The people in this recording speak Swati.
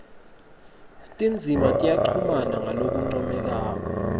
tindzima tiyachumana ngalokuncomekako